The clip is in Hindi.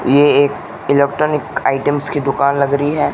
ये एक इलेक्ट्रॉनिक आइटम्स की दुकान लग रही है।